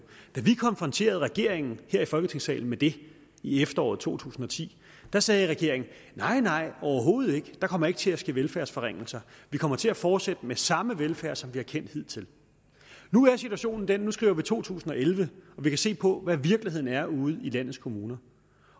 da vi konfronterede regeringen her i folketingssalen med det i efteråret to tusind og ti sagde regeringen nej nej overhovedet ikke der kommer ikke til at ske velfærdsforringelser vi kommer til at fortsætte med samme velfærd som vi har kendt hidtil nu er situationen den at vi skriver to tusind og elleve og vi kan se på hvad virkeligheden er ude i landets kommuner